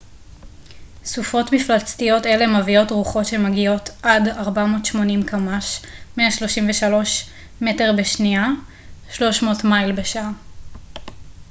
"סופות מפלצתיות אלה מביאות רוחות שמגיעות עד 480 קמ""ש 133 מטר בשנייה; 300 מייל בשעה.